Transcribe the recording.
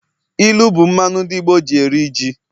ilu bu mmanu ndi Igbo ji eri ji.